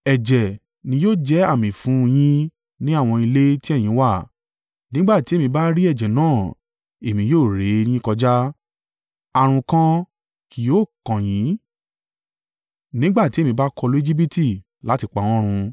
Ẹ̀jẹ̀ ni yóò jẹ́ àmì fún un yín ní àwọn ilé tí ẹ̀yin wà, nígbà tí èmi bá rí ẹ̀jẹ̀ náà, Èmi yóò ré e yín kọjá. Ààrùn kan kì yóò kàn yín nígbà tí èmi bá kọlu Ejibiti láti pa wọ́n run.